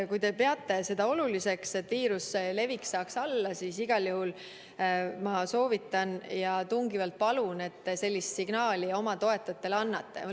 Kui te peate oluliseks, et viiruse levik läheks alla, siis igal juhul ma soovitan ja tungivalt palun, et te sellise signaali oma toetajatele annate.